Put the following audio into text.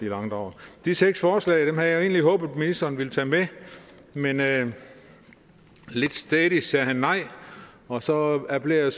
langdrag de seks forslag havde jeg egentlig håbet at ministeren ville tage med men lidt stædigt sagde han nej og så appellerer jeg